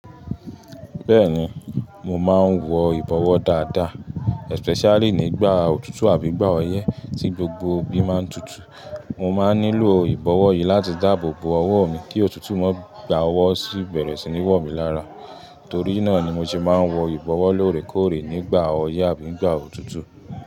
Bẹ́ẹ̀ni, mo máa ń wọ ìbọ̀wọ́ dáadáa, especially nígbà òtútù àbí gbà ọyẹ́ tí gbogbo ibi máa ń tutù. Mo máa ń nílò ìbọ̀wọ́ yìí láti dáàbò bo ọwọ́ mi kí òtútù mọ́ gbà ọwọ́ sí bẹ̀rẹ̀ sí ní wọ̀ mí lára. Torí náà ni mo ṣe máa ń wọ ìbọ̀wọ́ lóòrèkóòrè nígbà ọyẹ́ àbí nígbà òtútù.